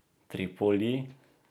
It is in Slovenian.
Tripoli?